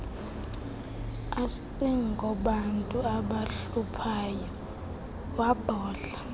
asingobantu abahluphayo wabhodla